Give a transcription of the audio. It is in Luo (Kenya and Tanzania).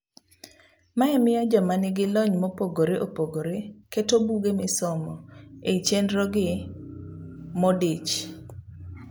Mae miyo joma nigilony mopogre opogre keto buge misomo ei chenrogi modich.